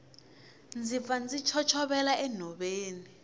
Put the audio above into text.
ndzi pfa ndzi chochovela enhoveni